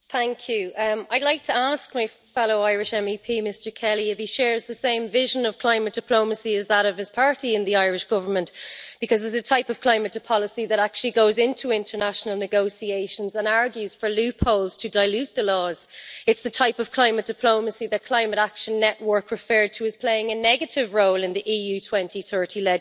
I would like to ask my fellow Irish MEP, Mr Kelly, if he shares the same vision of climate diplomacy as his party in the Irish Government, because it is a type of climate policy that actually goes into international negotiations and argues for loopholes to dilute the laws. It's the type of climate diplomacy that Climate Action Network referred to as playing a negative role in the EU 2030 legislation.